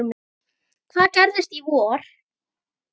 Hvað gerist í vor?